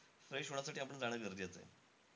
Fresh होण्यासाठी जाणं आपण गरजेचं आहे.